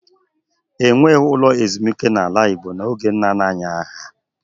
E nweghị ụlọ ezumike n’ala Igbo n’oge nna nna anyị ha.